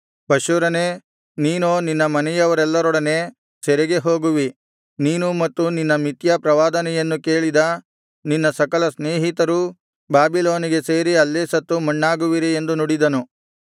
ಪಷ್ಹೂರನೇ ನೀನೋ ನಿನ್ನ ಮನೆಯವರೆಲ್ಲರೊಡನೆ ಸೆರೆಗೆ ಹೋಗುವಿ ನೀನೂ ಮತ್ತು ನಿನ್ನ ಮಿಥ್ಯಾ ಪ್ರವಾದನೆಯನ್ನು ಕೇಳಿದ ನಿನ್ನ ಸಕಲ ಸ್ನೇಹಿತರೂ ಬಾಬಿಲೋನಿಗೆ ಸೇರಿ ಅಲ್ಲೇ ಸತ್ತು ಮಣ್ಣಾಗುವಿರಿ ಎಂದು ನುಡಿದಿದ್ದಾನೆ